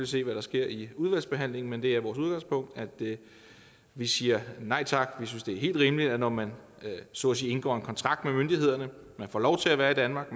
se hvad der sker i udvalgsbehandlingen men det er vores udgangspunkt at vi siger nej tak vi synes det er helt rimeligt at når man så at sige indgår en kontrakt med myndighederne man får lov til at være i danmark